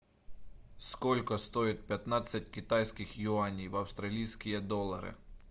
сколько стоит пятнадцать китайских юаней в австралийские доллары